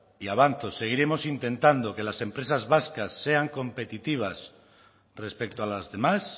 y avanzo seguiremos intentando que las empresas vascas competitivas respecto a las demás